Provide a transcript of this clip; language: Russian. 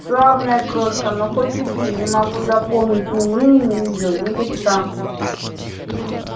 славная крошка но хоть убей не могу запомнить ни имени её ни лица